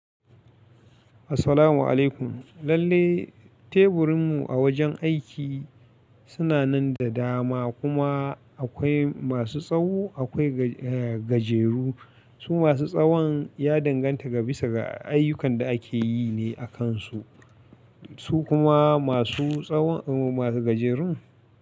Assalamu alaikum. Lalle teburinmu a wajen aiki suna nan da dama kuma akwai masu tsawo akwai gajeru. Su masu tsawon ya danganta ga bisa ga ayyukan da ake yi ne a kansu. Su kuma masu tsawon masu gajerun.